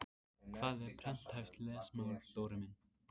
Hvað er prenthæft lesmál Dóri minn?